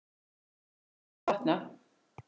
Vonandi mun þetta batna.